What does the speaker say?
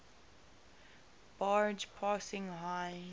barge passing heinz